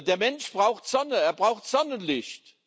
Der Mensch braucht Sonne, er braucht Sonnenlicht.